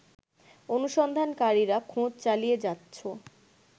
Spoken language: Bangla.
অনুসন্ধানকারীরা খোঁজ চালিয়ে যাচ্ছ